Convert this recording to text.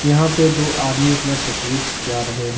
यहां पे दो आदमी अपना तस्वीर खींचा रहे है।